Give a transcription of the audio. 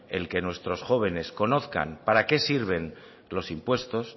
el que nuestros jóvenes conozcan para qué sirven los impuestos